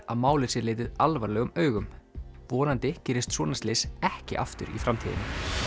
að málið sé litið alvarlegum augum vonandi gerist svona slys ekki aftur í framtíðinni